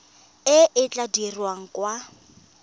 e e tla dirwang kwa